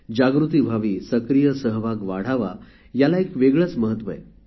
जागृती व्हावी सक्रीय सहभाग वाढावा याला एक वेगळेच महत्व आहे